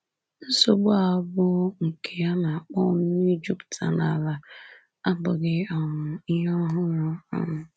Nsogbu a, bụ́ nke a na-akpọ nnu ijupụta n’ala, abụghị um ihe ọhụrụ. um